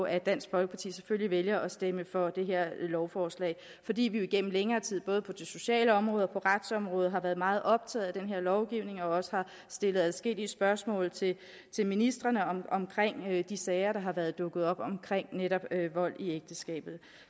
at dansk folkeparti selvfølgelig vælger at stemme for det her lovforslag fordi vi jo igennem længere tid både på det sociale område og på retsområdet har været meget optaget af den her lovgivning og også har stillet adskillige spørgsmål til ministrene om de sager der har været dukket op om netop vold i ægteskabet